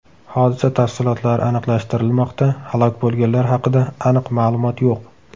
Hodisa tafsilotlari aniqlashtirilmoqda, halok bo‘lganlar haqida aniq ma’lumot yo‘q.